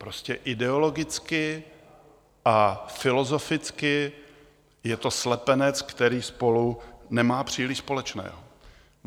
Prostě ideologicky a filozoficky je to slepenec, který spolu nemá příliš společného.